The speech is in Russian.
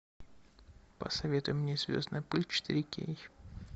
посоветуй мне звездная пыль четыре кей